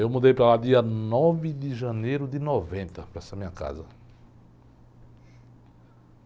Eu mudei para lá dia nove de janeiro de noventa, para essa minha casa.